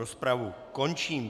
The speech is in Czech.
Rozpravu končím.